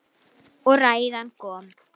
Og ræðan kom.